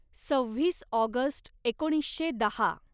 सव्हीस August एकोणीसशे दहा